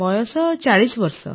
ବୟସ ୪୦ ବର୍ଷ